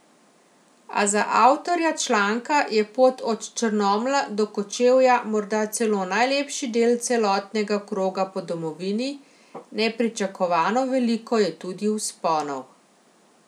A za avtorja članka je pot od Črnomlja do Kočevja morda celo najlepši del celotnega kroga po domovini, nepričakovano veliko je tudi vzponov.